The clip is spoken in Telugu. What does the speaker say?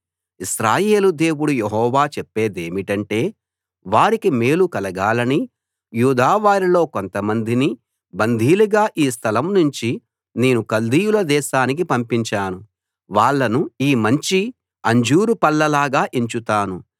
ఇశ్రాయేలు దేవుడు యెహోవా చెప్పేదేమిటంటే వారికి మేలు కలగాలని యూదావారిలో కొంతమందిని బందీలుగా ఈ స్థలం నుంచి నేను కల్దీయుల దేశానికి పంపించాను వాళ్ళను ఈ మంచి అంజూరు పళ్ళలాగా ఎంచుతాను